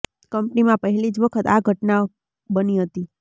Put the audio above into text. કંપનીમાં પહેલી જ વખત આ ઘટના બની હતી